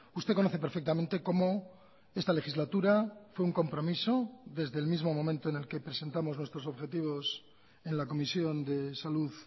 usted conoce perfectamente como esta legislatura fue un compromiso desde el mismo momento en el que presentamos nuestros objetivos en la comisión de salud